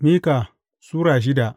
Mika Sura shida